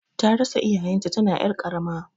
Tarasa iyayen ta tana ƴar karama